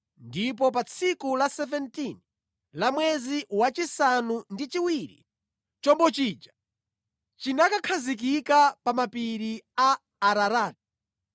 ndipo pa tsiku la 17 la mwezi wachisanu ndi chiwiri, chombo chija chinakakhazikika pa mapiri a Ararati.